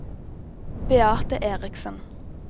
Beate Erichsen